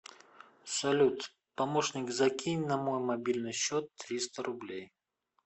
салют помощник закинь на мой мобильный счет триста рублей